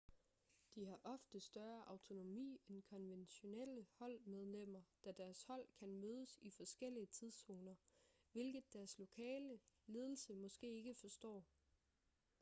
de har ofte større autonomi end konventionelle holdmedlemmer da deres hold kan mødes i forskellige tidszoner hvilket deres lokale ledelse måske ikke forstår